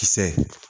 Kisɛ